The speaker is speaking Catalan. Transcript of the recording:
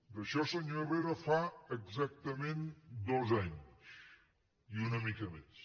d’això senyor herrera fa exactament dos anys i una mica més